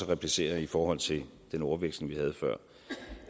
replicere i forhold til den ordveksling vi